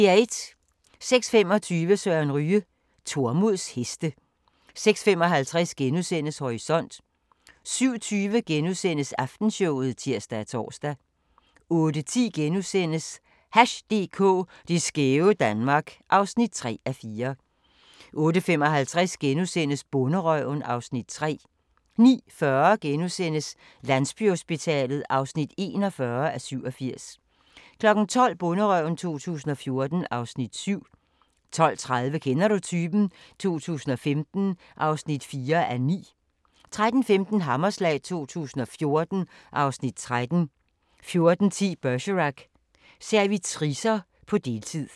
06:25: Søren Ryge: Tormods heste 06:55: Horisont * 07:20: Aftenshowet *(tir og tor) 08:10: Hash DK – det skæve Danmark (3:4)* 08:55: Bonderøven (Afs. 3)* 09:40: Landsbyhospitalet (41:87)* 12:00: Bonderøven 2014 (Afs. 7) 12:30: Kender du typen? 2015 (4:9) 13:15: Hammerslag 2014 (Afs. 13) 14:10: Bergerac: Servitricer på deltid